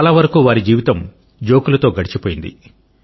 చాలావరకు వారి జీవితం జోకులతో గడిచిపోయింది